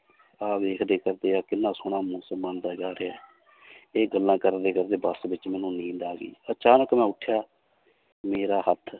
ਆਹ ਵੇਖਦੇ ਕਿੰਨਾ ਸੋਹਣਾ ਮੌਸਮ ਆਉਂਦਾ ਹੈ ਇਹ ਗੱਲਾਂ ਕਰਦੇ ਕਰਦੇ ਬਸ ਵਿੱਚ ਮੈਨੂੰ ਨੀਂਦ ਆ ਗਈ, ਅਚਾਨਕ ਮੈਂ ਉੱਠਿਆ ਮੇਰਾ ਹੱਥ